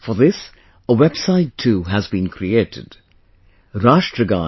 For this, a website too has been created Rashtragan